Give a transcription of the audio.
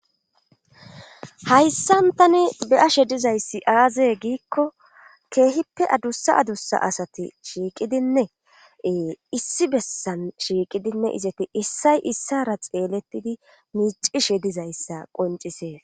hayssan tani be ashe dizayssi aazee giikko keehippe adussa adusa asati shiiqidinne issi bessan shiiqidinne izeti issay issara xeelettidi miicishe dizayssa qoncisee